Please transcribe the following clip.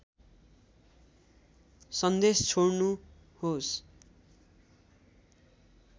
सन्देश छोड्नु होस्